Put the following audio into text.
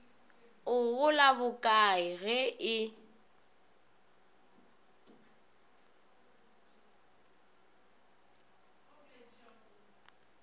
o gola bokae ge e